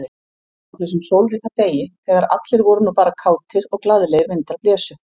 Á þessum sólríka degi, þegar allir voru nú bara kátir, og glaðlegir vindar blésu.